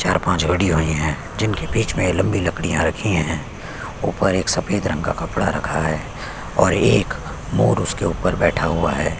चार -पाँच गड़ी आई है जिनके बीचे में लम्बी लकड़ियाँ रखी है ऊपर एक सफ़ेद रंग का कपड़ा रखा है और एक मोर उसके ऊपर बैठा हुआ हैं।